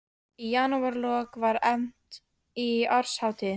Í janúarlok var efnt til árshátíðar